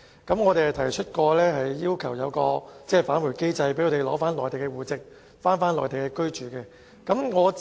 於是，我們提出設立返回機制，讓他們取回內地戶籍，返回內地居住。